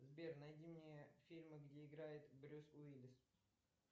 сбер найди мне фильмы где играет брюс уиллис